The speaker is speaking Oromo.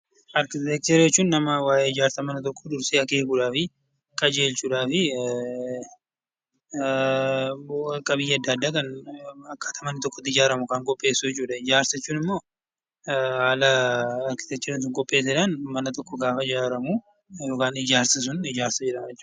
Arkiteekchera jechuun nama waa'ee ijaarsa mana tokkoo dursee akeekuudhaafi qajeelchuudhaafi qabiyyee adda addaa akkaataa manni tokko ittiin ijaaramu kan qopheessu jechuudha. Ijaarsa jechuun immoo haala arkiteekcherri tokko qopheesseen manni sun gaafa ijaaramu ijaarsa jedhama jechuudha.